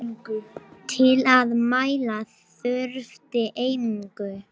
Til að mæla þurfti einingu.